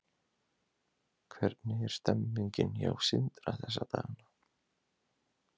Hvernig er stemningin hjá Sindra þessa dagana?